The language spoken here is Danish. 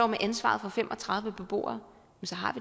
med ansvaret for fem og tredive beboere